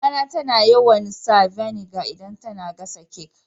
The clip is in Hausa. Mama na tana yawan sa vinegar idan tana gasa kek.